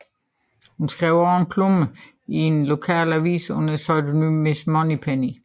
Hun skrev også en klumme i en lokal avis under pseudonymet Miss Moneypenny